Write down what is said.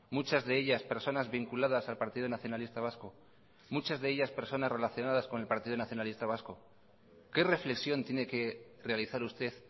muchas de ellas personas vinculadas al partido nacionalista vasco muchas de ellas personas relacionadas con el partido nacionalista vasco qué reflexión tiene que realizar usted